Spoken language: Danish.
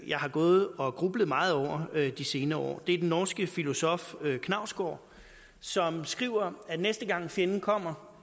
jeg har gået og grublet meget over de senere år det er den norske filosof knausgård som skriver at næste gang fjenden kommer